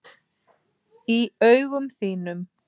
Í augum þínum.